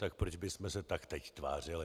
Tak proč bychom se tak teď tvářili!